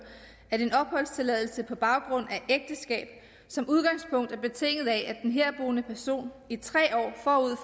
at en opholdstilladelse på baggrund af ægteskab som udgangspunkt er betinget af at den herboende person i tre